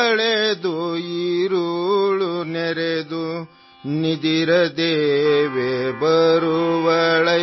কানাড়া ধ্বনি clip ৩৫ second